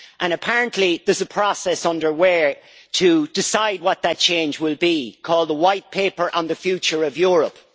and apparently there is a process underway to decide what that change will be called the White Paper on the future of Europe.